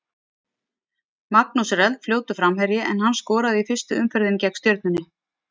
Magnús er eldfljótur framherji en hann skoraði í fyrstu umferðinni gegn Stjörnunni.